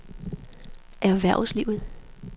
erhvervslivet